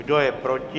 Kdo je proti?